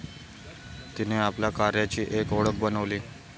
तिने आपल्या कार्याची एक ओळख बनवली.